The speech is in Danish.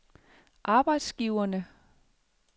arbejdsgiverne